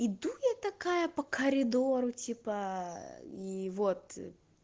иду я такая по коридору типа и вот